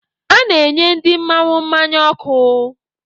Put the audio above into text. A na-enye ndị mmanwụ mmanya ọkụ.